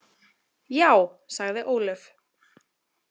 Já, sagði Ólöf.